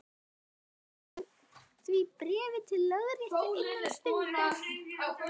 Framvísaðu því bréfi í lögréttu innan stundar.